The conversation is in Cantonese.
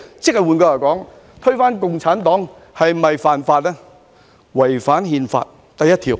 "換句話說，推翻共產黨便是違反《憲法》第一條。